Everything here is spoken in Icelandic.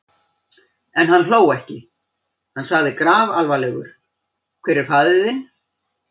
En hann hló ekki: Hann sagði grafalvarlegur:-Hver er faðir þinn?